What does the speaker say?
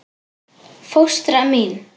Fóstra mín